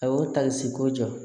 A y'o tali ko jɔ